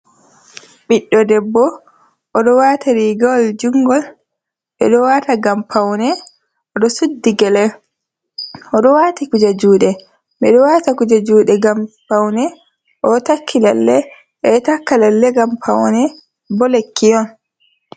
Ɓiɗdo debbo o ɗo wata rigawal jungol ɓe ɗo wata ngam paune, o ɗo suddi gyele o ɗo wati kuje juɗe ɓe ɗo wata kuje juɗe ngam paune, o takki lalle ɓe ɗo takka lalle ngam paune bo lekki on.